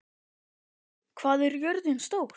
Stapi, hvað er jörðin stór?